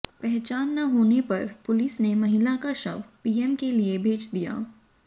पहचान न होने पर पुलिस ने महिला का शव पीएम के लिए भेज दिया